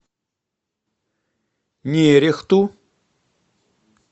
нерехту